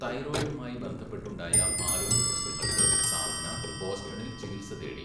തൈറോയ്ഡുമായി ബന്ധപ്പെട്ടുണ്ടായ ആരോഗ്യപ്രശ്നങ്ങൾക്ക് സാധന, ബോസ്റ്റണിൽ ചികിത്സ തേടി .